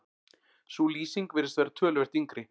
sú lýsing virðist vera töluvert yngri